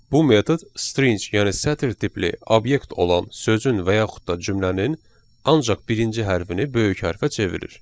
Bu metod string, yəni sətir tipli obyekt olan sözün və yaxud da cümlənin ancaq birinci hərfini böyük hərfə çevirir.